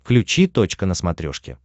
включи точка на смотрешке